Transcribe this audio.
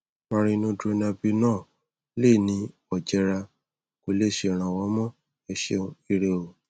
marinodronabinol lè ní òjera kò le ṣèrànwọ mọ ẹ ṣeun ire o